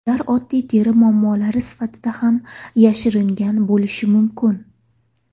Ular oddiy teri muammolari sifatida ham yashiringan bo‘lishi mumkin.